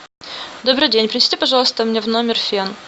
добрый день принесите пожалуйста мне в номер фен